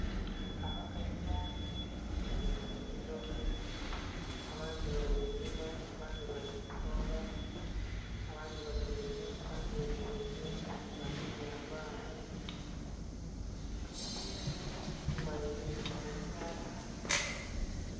Abakazi bangi bali mu nnhimiro abandhi bali kulima, abandhi bali koola, abandhi batyaime abandhi bemereire bagemye abaana, bali mu nnhimiro nnhenhe kumbali eriyo emiti emighanvu.